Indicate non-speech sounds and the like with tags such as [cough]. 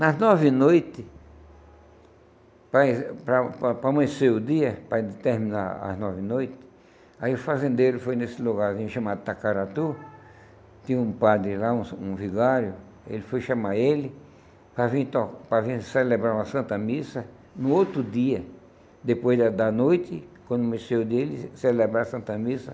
Nas nove noites, para para para para amanhecer o dia, para terminar as nove noites, aí o fazendeiro foi nesse lugarzinho chamado Tacaratu, tinha um padre lá, um [unintelligible] um vigário, ele foi chamar ele para vir to para vir celebrar uma santa missa no outro dia, depois da da noite, quando amanheceu o dia, ele ia celebrar a santa missa.